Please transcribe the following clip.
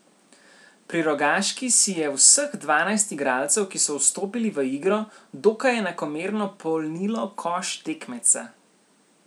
Pri Rogaški si je vseh dvanajst igralcev, ki so vstopili v igro, dokaj enakomerno polnilo koš tekmeca.